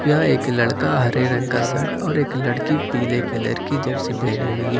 यह एक लड़का हरे रंग का सर्ट और एक लड़की पीले कलर की जर्सी पहनी हुई है।